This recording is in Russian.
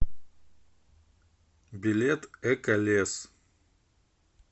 билет эко лес